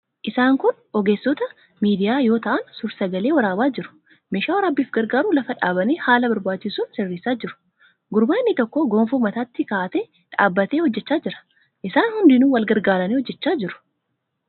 Isaan kun ogeessota miidiyaa yoo ta'an suur-sagalee waraabaa jiru. Meeshaa waraabbiif gargaaru lafa dhaabanii haala barbaachisuun sirreessaa jiru. Gurbaa inni tokko gonfoo mataatti kaa'atee dhaabbatee hojjechaa jira. Isaan hundinuu wal gargaaranii hojjechaa jiru.